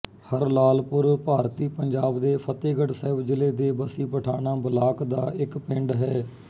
ਹਰਲਾਲਪੁਰ ਭਾਰਤੀ ਪੰਜਾਬ ਦੇ ਫ਼ਤਹਿਗੜ੍ਹ ਸਾਹਿਬ ਜ਼ਿਲ੍ਹੇ ਦੇ ਬੱਸੀ ਪਠਾਣਾਂ ਬਲਾਕ ਦਾ ਇੱਕ ਪਿੰਡ ਹੈ